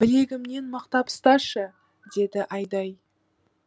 білегімнен мықтап ұсташы деді айдай